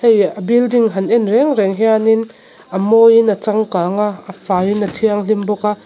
leh a building han en reng reng hianin a mawiin a changkang a a faiin a thianghlim bawk a.